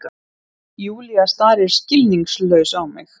Júlía starir skilningslaus á mig.